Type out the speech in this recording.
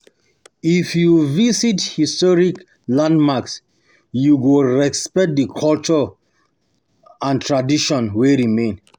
If you um visit historic um landmarks, you go respect the culture respect the culture and tradition wey remain.